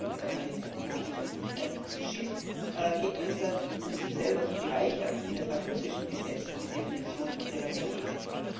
Es kann auch nicht Piraterie sein, sie haben ja schließlich kein Schiff geentert, um sich selber zu bereichern, wie nach russischem Gesetz die Definition von Piraterie lautet.